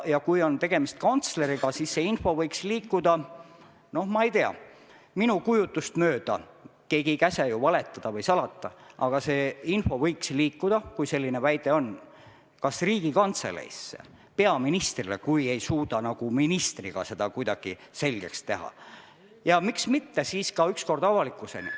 Ja kui on tegemist kantsleriga, siis see info võiks liikuda – no ma ei tea, minu kujutlust mööda, keegi ei käsi ju valetada või salata, aga see info võiks liikuda, kui selline väide on – kas Riigikantseleisse, peaministrile, juhul kui ei suudeta ministriga asju kuidagi selgeks rääkida, ja miks mitte siis ükskord ka avalikkuseni.